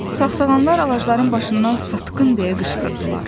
Sağsağanlar ağacların başından “Satqın!” deyə qışqırdılar.